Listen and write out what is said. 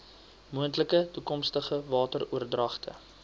moontlike toekomstige wateroordragte